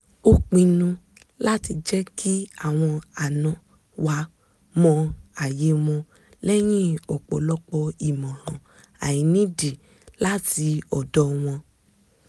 a pinu láti jẹ́ kí àwọn àna wa mọ àyè wọn lẹ́yìn ọ̀pọ̀lọpọ̀ ìmọ̀ràn àìnídìí láti ọ̀dọ̀ wọn